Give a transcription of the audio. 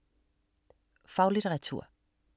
Faglitteratur